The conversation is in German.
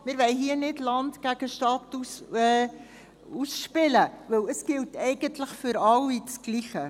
wir wollen hier nicht Land gegen Stadt ausspielen, denn es gilt eigentlich für alle dasselbe.